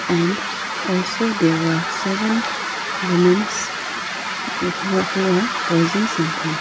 and also there are seven womens who are who are posing something.